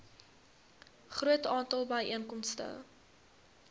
groot aantal byeenkomste